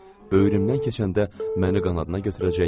Böyrümdən keçəndə məni qanadına götürəcək.